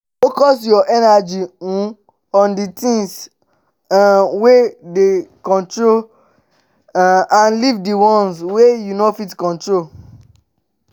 focus your energy um on di things um wey dey your control um and leave di ones wey you no fit control